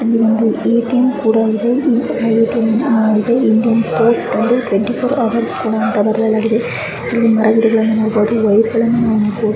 ಇಲ್ಲಿ ಒಂದು ಎಟಿಎಂ ಕೂಡ ಇದೆ ಇಲ್ಲಿ ಎಟಿಎಂ ಬಂದು ಟ್ವೆಂಟಿ ಫೋರ್ ಹೌರ್ಸ್ ಅಂತ ಬರೆಯಲಾಗಿದೆ ಇಲ್ಲಿ ಮರ ಗಿಡಗಳನ್ನ ನಾವು ನೋಡಬಹುದು ವೈರ್ ಗಳನ್ನ ನಾವು ನೋಡ--